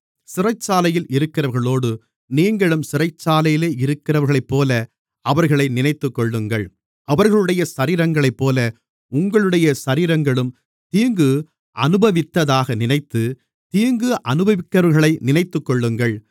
சிறைச்சாலையில் இருக்கிறவர்களோடு நீங்களும் சிறைச்சாலையிலே இருக்கிறவர்களைப்போல அவர்களை நினைத்துக்கொள்ளுங்கள் அவர்களுடைய சரீரங்களைப்போல உங்களுடைய சரீரங்களும் தீங்கு அனுபவித்ததாக நினைத்து தீங்கு அனுபவிக்கிறவர்களை நினைத்துக்கொள்ளுங்கள்